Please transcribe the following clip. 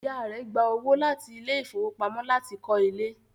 Ìyá rẹ̀ gba owó láti ilé ìfowópamọ́ láti kọ́ ilé